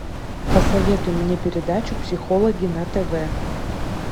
посоветуй мне передачу психологи на тв